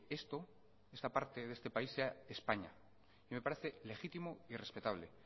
esta parte de país sea españa me parece legítimo y respetable